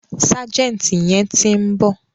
Ságẹ̀ǹtì yẹn ti ń bọ̀.